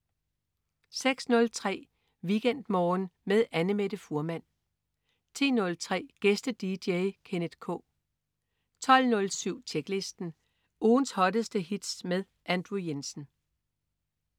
06.03 WeekendMorgen med Annamette Fuhrmann 10.03 Gæste-dj. Kenneth K 12.07 Tjeklisten. Ugens hotteste hits med Andrew Jensen